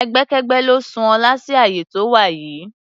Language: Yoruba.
Ẹgbẹ́kẹ́gbẹ́ ló sún Ọlá sí àyè tó wà yìí.